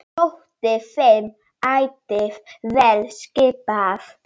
Þótti þeim ætíð vel skipað.